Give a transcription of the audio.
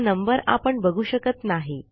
हा नंबर आपण बघू शकत नाही